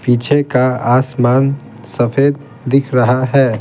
पीछे का आसमान सफेददिख रहा है।